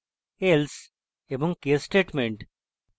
else এবং case statements